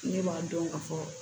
Ne b'a dɔn ka fɔ